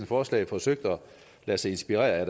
forslag forsøgt at lade sig inspirere af er